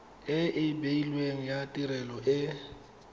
e beilweng ya tirelo e